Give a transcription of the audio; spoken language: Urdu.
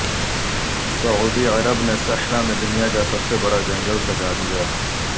سعودی عرب نے صحرا میں دنیا کا سب سے بڑا جنگل سجادیا